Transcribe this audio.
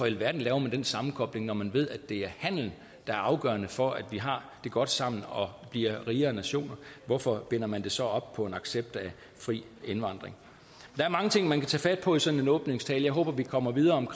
alverden laver man den sammenkobling når man ved at det er handel der er afgørende for at vi har det godt sammen og bliver rigere nationer hvorfor binder man det så op på en accept af fri indvandring der er mange ting man kan tage fat på i sådan en åbningstale jeg håber at vi kommer videre med